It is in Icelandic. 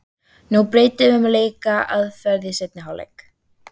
Nú breytum við um leikaðferð í seinni hálfleik.